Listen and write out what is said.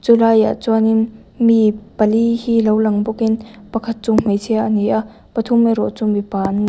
chulai ah chuanin mi pali hi lo lang bawkin pakhat chu hmeichhia a ni a pathum erawh chu mipa an ni.